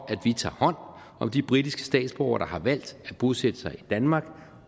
tager hånd om de britiske statsborgere der har valgt at bosætte sig i danmark